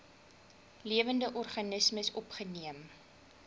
lewende organismes opgeneem